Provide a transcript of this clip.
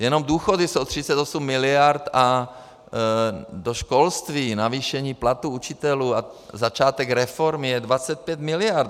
Jenom důchody jsou 38 miliard a do školství, navýšení platů učitelů a začátek reformy je 25 miliard.